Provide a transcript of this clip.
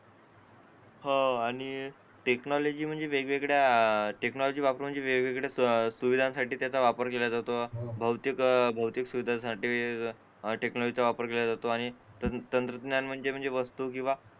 हो आणि टेक्नॉलॉजी ही वेगवेगळ्या अं टेक्नॉलॉजी वापरून म्हणजे वेगवेगळ्या सुविधांसाठी त्याचा वापर केला जातो बहुतेक अह सुविधा साठी टेक्नॉलॉजीचा वापर केला जातो तंत्रज्ञान म्हणजे वस्तू किंवा